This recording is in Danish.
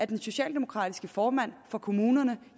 den socialdemokratiske formand for kommunerne